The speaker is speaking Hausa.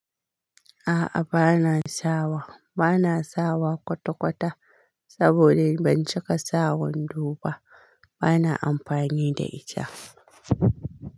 A'a bana sawa, bana sawa kwatakwata saboda in bincika sawandoba bana amfani da ita.